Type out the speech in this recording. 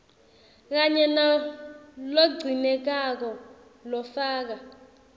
kanye nalogcinekako lofaka